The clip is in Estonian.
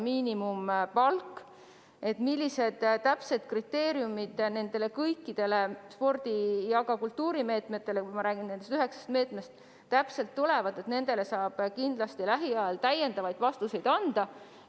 Millised kriteeriumid nendele kõikidele spordi- ja ka kultuurimeetmetele – ma räägin nendest üheksast meetmest –, sellele saab kindlasti lähiajal täpsemaid vastuseid anda.